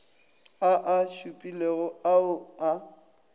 a a šupilego ao a